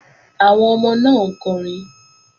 Àwọn ọmọ náà ń kọrin